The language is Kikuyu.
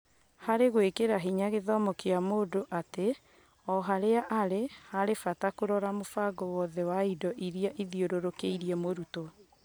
Harĩ gũĩkĩra hinya gĩthomo kĩa mũndũ arĩ oharĩa arĩ, harĩ bata kũrora mũbango wothe wa indo iria ithiũrũrũkĩirie mũrutwo.